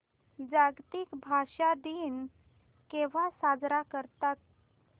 जागतिक भाषा दिन केव्हा साजरा करतात